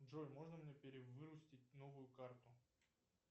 джой можно мне перевыпустить новую карту